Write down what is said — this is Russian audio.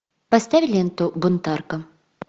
поставь ленту бунтарка